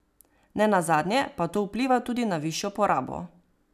Ne nazadnje pa to vpliva tudi na višjo porabo.